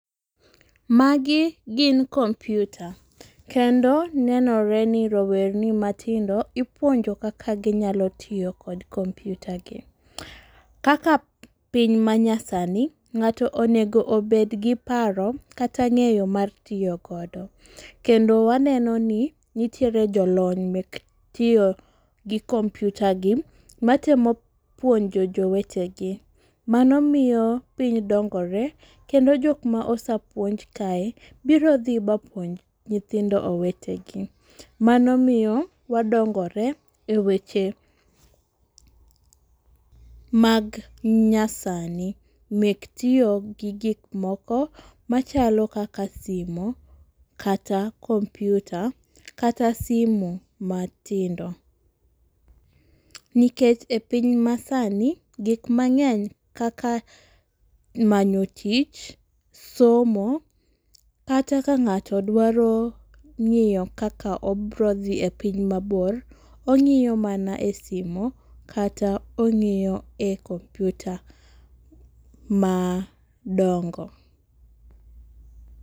Magi, gin computer kendo nenore ni rowerni matindo ipuonjo kaka ginyalo tiyo kod computer gi. Kaka piny manyasani, ng'ato onego obed gi paro kata ng'eyo mar tiyo kode. Kendo waneno ni, nitiere jolony mek tiyo gi computer gi, matemo puonjo jowetegi. Mano miyo piny dongore, kendo jok ma osepuonj kae, biro dhi mapuonj nyithindo owetegi. Mano miyo wadongore e weche mag nyasani mek tiyo gi gik moko machalo kaka simu, kata computer kata simu matindo. Nikech e piny masani, gik mang'eny kaka manyo tich, somo, kata ka ng'ato dwaro ng'iyo kaka obro dhii e piny mabor, ong'iyo mana e simu kata ong'iyo mana e computer madongo.